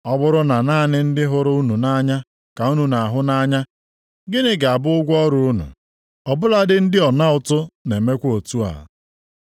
Ọ bụrụ naanị ndị hụrụ unu nʼanya ka unu na-ahụ nʼanya, gịnị ga-abụ ụgwọ ọrụ unu? Ọ bụladị ndị ọna ụtụ na-emekwa otu a.